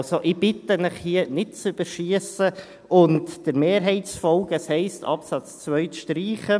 Also: Ich bitte Sie, hier nicht zu überschiessen und der Mehrheit zu folgen, das heisst, den Absatz 2 zu streichen.